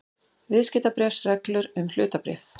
Viðskiptabréfsreglur um hlutabréf.